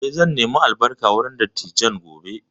Eh, zan nemi albarka wurin dattijan gobe